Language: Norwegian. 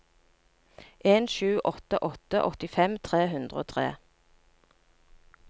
en sju åtte åtte åttifem tre hundre og tre